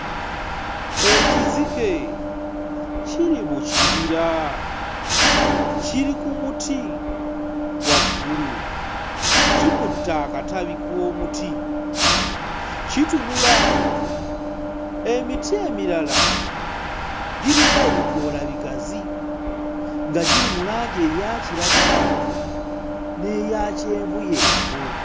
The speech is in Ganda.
Ekizike kiri mu kibira, kiri ku muti waggulu, kikutte akatabi k'omuti kitunula, emiti emirala girina ebikoola bigazi nga giri mu langi eya kiragala n'eya kyenvuyenvu.